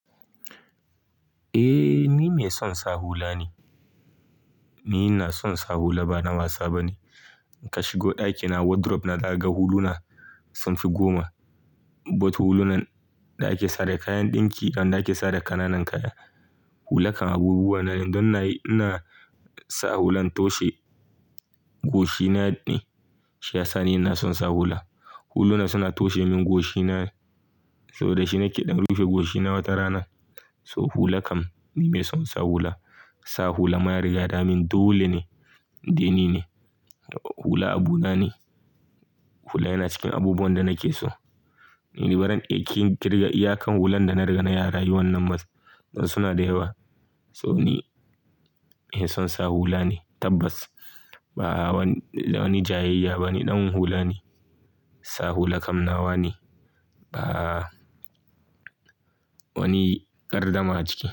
Eh ni mai son sa hula ne. Ni ina son sa hula ba na wasa ba ne. Ka shigo ɗakina wardrobe na ka ga huluna sun fi goma. Both hulunan da ake sa da kayan ɗinki d da wanda ake sawa da kananan kaya. Hula kam abubuwa na ne don na yi-- ina sa hulan toshe goshina ne shiyasa ni ina son sa hula. Huluna suna toshe min goshina saboda shi na ke ɗan rufe goshina wata rana. So hula kam ni mai son sa hula. Sa hula ma ya riga damin dole ne, in dai ni ne. Hula abu na ne. Hula yana cikin abubuwan da nake so. Ni baran iya kin in kirga iyakan hulan da na riga na yi a rayu wannan ba don don suna da yawa. So ni mai son sa hula ne tabbas. Ba wani jayayya ba ne, ɗan hula ne. Sa hula kam nawa ne. Ba wani gardama ciki.